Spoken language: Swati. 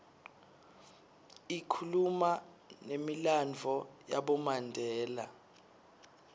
ikhuluma numilandvo yabomandela